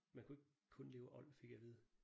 Man kunne ikke kun leve af old fik jeg at vide